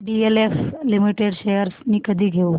DLF limited shares मी कधी घेऊ